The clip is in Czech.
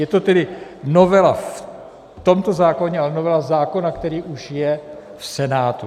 Je to tedy novela v tomto zákoně a novela zákona, který už je v Senátu.